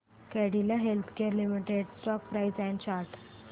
Cadila healthcare limited stock price and chart